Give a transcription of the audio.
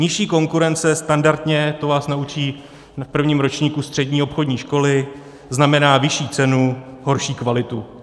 Nižší konkurence standardně, to vás naučí v prvním ročníku střední obchodní školy, znamená vyšší cenu, horší kvalitu.